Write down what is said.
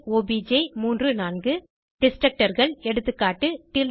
addition ஒப்ஜ் 3 4 Destructorகள் எகா